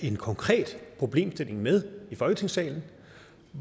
en konkret problemstilling med i folketingssalen